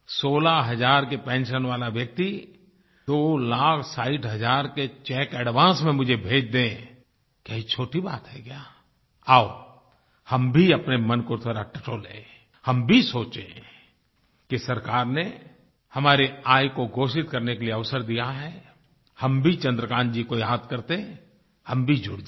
16 हजार की पेंशन वाला व्यक्ति दो लाख साठ हजार के चेक एडवांस में मुझे भेज दे क्या ये छोटी बात है क्या आओ हम भी अपने मन को जरा टटोलें हम भी सोचें कि सरकार ने हमारी आय को घोषित करने के लिये अवसर दिया है हम भी चन्द्रकान्त जी को याद करके हम भी जुड़ जाएँ